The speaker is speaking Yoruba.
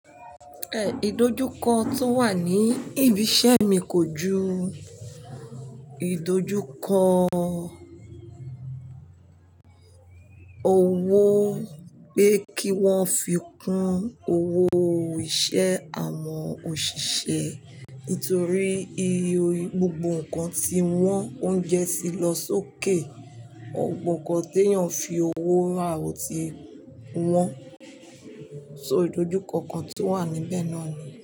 Ìdojúkọ tó wà ní ibi iṣẹ́ mi kò ju ìdojúkọ owó pé kí wọ́n fi kún owó iṣẹ́ àwọn òṣìṣẹ́ nítorí gbogbo nǹkan tí wọ́n oúnjẹ ti lọ sókè, gbogbo nnkan ti eéyàn fi owó ra ò tí wọn. So ìdojúkọ kan tó wà níbẹ̀ náà ni.